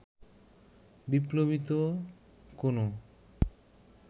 বিপ্লবী তো কোনো